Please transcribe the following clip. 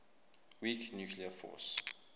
weak nuclear force